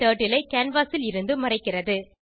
turtle ஐ canvas ல் இருந்து மறைக்கிறது